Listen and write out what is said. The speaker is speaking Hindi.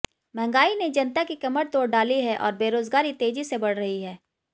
महंगाई ने जनता की कमर तोड़ डाली है और बेरोजगारी तेजी से बढ़ रही है